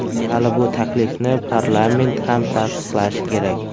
Hali bu taklifni parlament ham tasdiqlashi kerak.